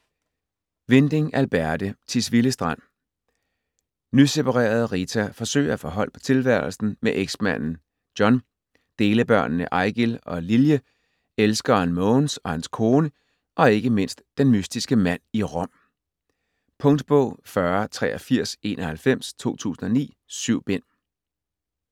Winding, Alberte: Tisvilde Strand Nyseparerede Rita forsøger at få hold på tilværelsen med eksmanden John, delebørnene Eigil og Lilje, elskeren Mogens og hans kone, og ikke mindst den mystiske mand i Rom. Punktbog 408391 2009. 7 bind.